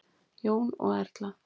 Jón og Erla.